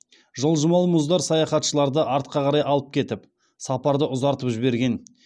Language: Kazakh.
жылжымалы мұздар саяхатшыларды артқа қарай алып кетіп сапарды ұзартып жіберген